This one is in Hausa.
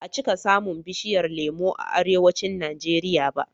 Ba a cika samun bishiyar lemo a Arewacin Najeriya ba.